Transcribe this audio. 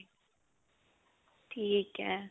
ਠੀਕ ਹੈ.